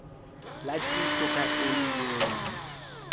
la tiiso ka e meile